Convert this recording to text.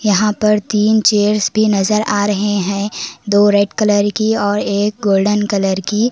यहां पर तीन चेयर्स भी नजर आ रहे हैं दो रेड कलर की और एक गोल्डन कलर की।